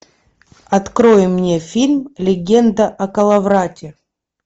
открой мне фильм легенда о коловрате